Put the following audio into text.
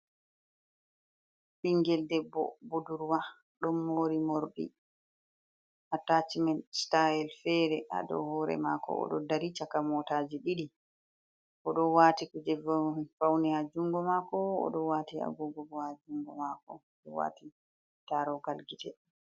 Ɓingel debbo budurwa, ɗon mori morɗi atachmen stayel fere haa dou hoore maako. O ɗo dari caka mota je ɗiɗi. O ɗo waati kuje faune haa jungo maako. O ɗo waati agogo bo haa junngo maako. O ɗo waati darogal gite.